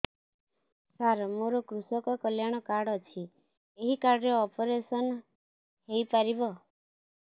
ସାର ମୋର କୃଷକ କଲ୍ୟାଣ କାର୍ଡ ଅଛି ଏହି କାର୍ଡ ରେ ଅପେରସନ ହେଇପାରିବ